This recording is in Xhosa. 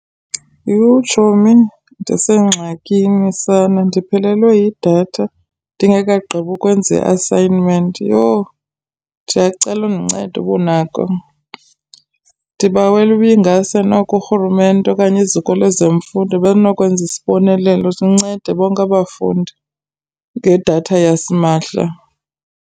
Yhu, tshomi ndisengxakini sana! Ndiphelelwe yidatha ndingekagqibi ukwenza i-assignment. Yho, ndiyacela undincede uba unako. Ndibawela ibingase noko urhulumente okanye iziko lezemfundo belinokwenza isibonelelo sincede bonke abafundi ngedatha yasimahla.